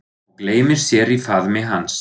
Og gleymir sér í faðmi hans.